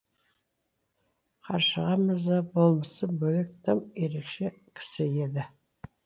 қаршыға мырза болмысы бөлек тым ерекше кісі еді